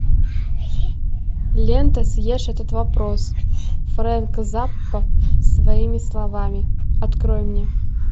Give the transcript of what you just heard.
лента съешь этот вопрос фрэнк заппа своими словами открой мне